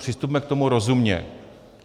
Přistupme k tomu rozumně.